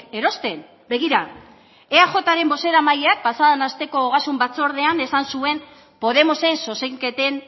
erosten begira eajren bozeramaileak pasa den asteko ogasun batzordean esan zuen podemosen zuzenketen